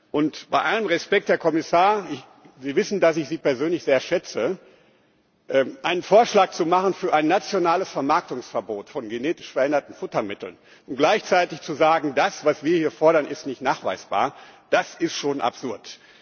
Und, bei allem Respekt, Herr Kommissar Sie wissen, dass ich Sie persönlich sehr schätze Einen Vorschlag zu machen für ein nationales Vermarktungsverbot von genetisch veränderten Futtermitteln und gleichzeitig zu sagen, das, was wir hier fordern, ist nicht nachweisbar, das ist schon absurd.